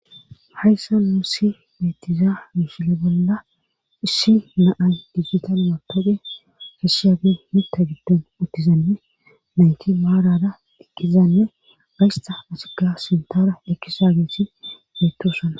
hayssa luussi beetiza mishile bolla issi naay digitanumatoode keshiabe mita giddon uttizanne nayti maarara diqqizanne gaysta masika sintara ekkisa geesi beettosan